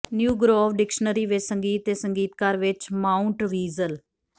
new Grove Dictionary ਵਿਚ ਸੰਗੀਤ ਅਤੇ ਸੰਗੀਤਕਾਰ ਵਿਚ ਮਾਊਂਟਵੀਜ਼ਲ